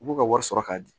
U b'u ka wari sɔrɔ k'a di